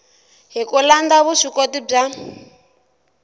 hi ku landza vuswikoti bya